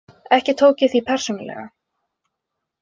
Ekki tók ég því persónulega.